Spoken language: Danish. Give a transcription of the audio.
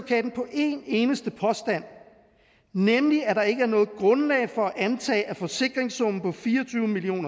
en eneste påstand nemlig at der ikke er noget grundlag for at antage at forsikringssummen på fire og tyve million